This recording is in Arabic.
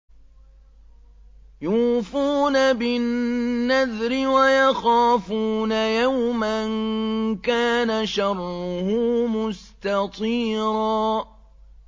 يُوفُونَ بِالنَّذْرِ وَيَخَافُونَ يَوْمًا كَانَ شَرُّهُ مُسْتَطِيرًا